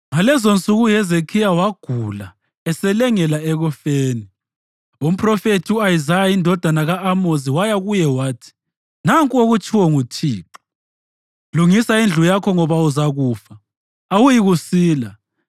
Ngalezonsuku uHezekhiya wagula eselengela ekufeni. Umphrofethi u-Isaya, indodana ka-Amozi waya kuye wathi, “Nanku okutshiwo nguThixo: Lungisa indlu yakho ngoba uzakufa, awuyikusila.”